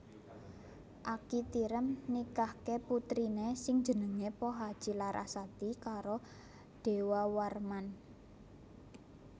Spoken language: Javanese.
Aki Tirem nikahke putrine sing jenenge Pohaci Larasati karo Dewawarman